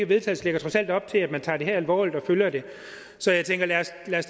vedtagelse lægger trods alt op til at man tager det her alvorligt og følger det så jeg tænker